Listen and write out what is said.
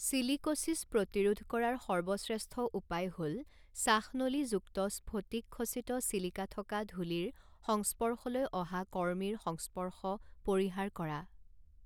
Silicosis প্ৰতিৰোধ কৰাৰ সৰ্বশ্ৰেষ্ঠ উপায় হ'ল শ্বাসনলী যুক্ত স্ফটিকখচিত চিলিকা থকা ধূলিৰ সংস্পৰ্শলৈ অহা কৰ্মীৰ সংস্পৰ্শ পৰিহাৰ কৰা।